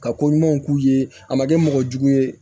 Ka ko ɲumanw k'u ye a ma kɛ mɔgɔ jugu ye